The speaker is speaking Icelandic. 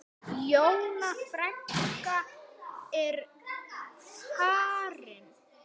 Jóna frænka er farin.